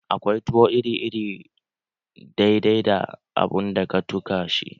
Akwai tuwo iri iri dai dai da abun da ka tuka shi da